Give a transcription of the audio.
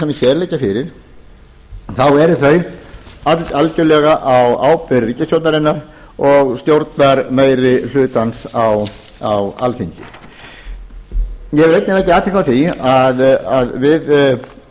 sem hér liggja fyrir þá verði þau algerlega á ábyrgð ríkisstjórnarinnar og stjórnarmeirihlutans á alþingi ég vil einnig vekja athygli á því að við